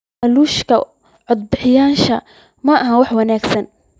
Laaluushka codbixiyeyaashu maaha wax wanaagsan.